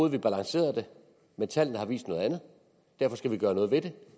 at vi balancerede det men tallene har vist noget andet derfor skal vi gøre noget ved det